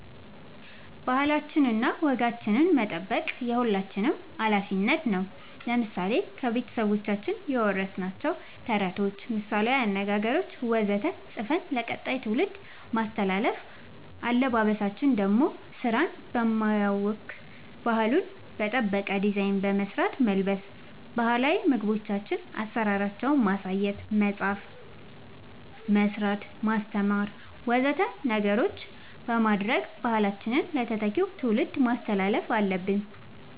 ባህላችን ወጋችን መጠበቅ የሁላችንም አላፊነት ነው ለምሳሌ ከቤተሰቦቻችን የወረስናቸውን ተረቶች ምሳላዊ አነገገሮች ወዘተ ፅፈን ለቀጣይ ትውልድ ማስተላለፍ አለበበሳችን ደሞ ስራን በማያውክ ባህሉን በጠበቀ ዲዛይን በመስራት መልበስ ባህላዊ ምግቦቻችን አሰራራቸውን ማሳየት መፅአፍ መስራት ማስተማር ወዘተ ነገሮች በማድረግ ባህላችንን ለተተኪው ትውልድ ማስተላለፍ አለብን